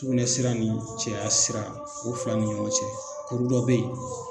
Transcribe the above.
Sukunɛ sira ni cɛya siran, o fila ni ɲɔgɔn cɛ kuru dɔ be yen.